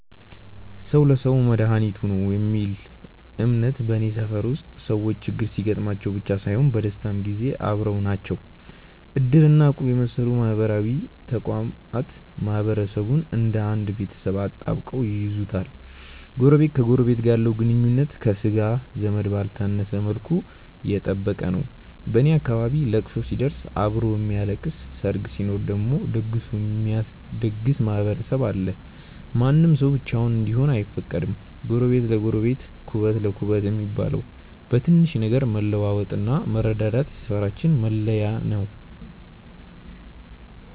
"ሰው ለሰው መድኃኒቱ ነው" የሚል እምነት በኔ ሰፈር ውስጥ ሰዎች ችግር ሲገጥማቸው ብቻ ሳይሆን በደስታም ጊዜ አብረው ናቸው። እድር እና እቁብ የመሰሉ ማህበራዊ ተቋማት ማህበረሰቡን እንደ አንድ ቤተሰብ አጣብቀው ይይዙታል። ጎረቤት ከጎረቤቱ ጋር ያለው ግንኙነት ከሥጋ ዘመድ ባልተነሰ መልኩ የጠበቀ ነው። በኔ አካባቢ ለቅሶ ሲደርስ አብሮ የሚያለቅስ፣ ሰርግ ሲኖር ደግሞ ደግሶ የሚያስደግስ ማህበረሰብ አለ። ማንም ሰው ብቻውን እንዲሆን አይፈቀድም። "ጎረቤት ለጎረቤት ኩበት ለኩበት" እንደሚባለው፣ በትንሽ ነገር መለዋወጥና መረዳዳት የሰፈራችን መለያ ነው።